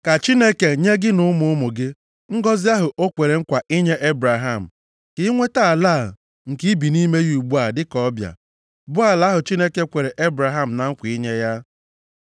Ka Chineke nye gị na ụmụ ụmụ gị ngọzị ahụ o kwere nkwa inye Ebraham. Ka i nweta ala a, nke i bi nʼime ya ugbu a dịka ọbịa, bụ ala ahụ Chineke kwere Ebraham na nkwa inye ya.”